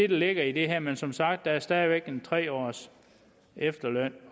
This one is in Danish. ligger i det her men som sagt er der stadig væk en tre års efterløn